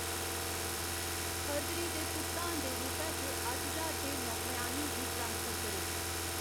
फरवरी दे भुगतान दे रूपै च अट्ठ ज्हार रपेऽ नौकरेआनी गी ट्रांसफर करो।